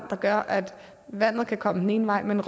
og gør at vandet kan komme den ene vej men